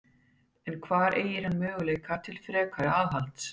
En hvar eygir hann möguleika til frekara aðhalds?